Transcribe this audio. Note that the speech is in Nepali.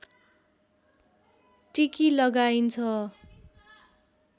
टिकी लगाइन्छ